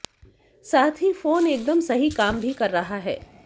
साथ ही फोन एकदम सही काम भी कर रहा है